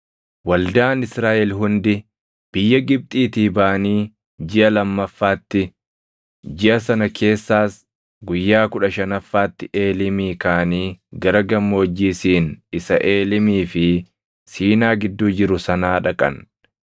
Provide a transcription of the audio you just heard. Waldaan Israaʼel hundi biyya Gibxiitii baʼanii jiʼa lammaffaatti, jiʼa sana keessaas guyyaa kudha shanaffaatti Eeliimii kaʼanii gara gammoojjii Siin isa Eelimii fi Siinaa gidduu jiru sanaa dhaqan.